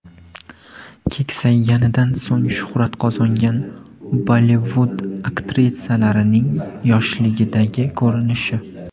Keksayganidan so‘ng shuhrat qozongan Bollivud aktrisalarining yoshligidagi ko‘rinishi .